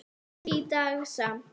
Ekki í dag samt.